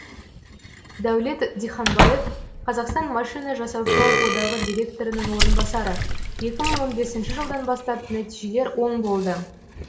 дәулет диханбаев қазақстан машина жасаушылар одағы директорының орынбасары екі мың он бесінші жылдан бастап нәтижелер оң болды